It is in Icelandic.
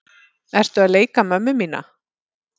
Ertu að leika mömmu mína?